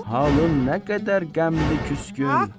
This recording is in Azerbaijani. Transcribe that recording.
Halın nə qədər qəmli küskün.